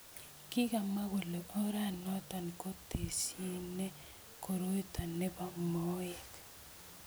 Kikimwa kole oranoto ko tesiene koroito ne bo moek.